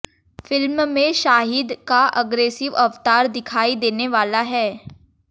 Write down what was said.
film में शाहिद का aggressive अवतार दिखाई देने वाला है